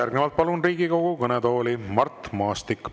Järgnevalt palun Riigikogu kõnetooli Mart Maastiku.